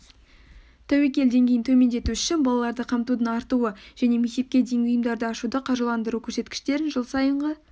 тәуекел деңгейін төмендету үшін балаларды қамтудың артуы және мектепке дейінгі ұйымдарды ашуды қаржыландыру көрсеткіштерін жыл сайынғы